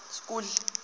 school